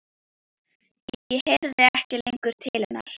Ég heyrði ekki lengur til hennar.